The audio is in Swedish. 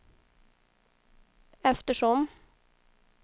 eftersom